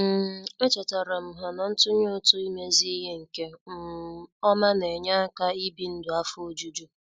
um Echetaram ha na-ntunye ụtụ imezi ihe nke um ọma na -enye aka ị bi ndụ afọ ojuju